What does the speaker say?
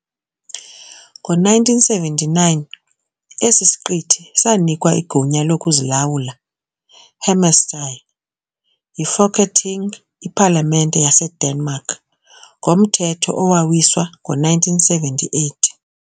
Ngo-1979 esi siqithi sanikwa igunya lokuzilawula, "hjemmestyre", yiFolketing, iPalamente yaseDenmark, ngomthetho owawiswa ngo-1978.